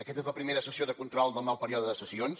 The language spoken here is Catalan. aquesta és la primera sessió de control del nou període de sessions